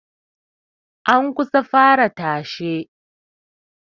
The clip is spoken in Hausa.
An kusa a fara tashe